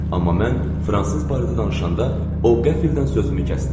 Amma mən fransız barədə danışanda o qəfildən sözümü kəsdi.